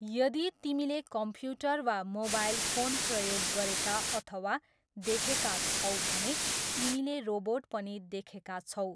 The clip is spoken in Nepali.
यदि तिमीले कम्प्युटर वा मोबाइल फोन प्रयोग गरेका अथवा देखेका छौ भने तिमीले रोबोट पनि देखेका छौ।